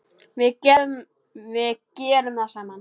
Við gerum það saman.